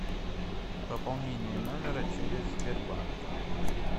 пополнение номера через сбербанк